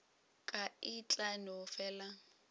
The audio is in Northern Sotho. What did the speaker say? ka e tla no fela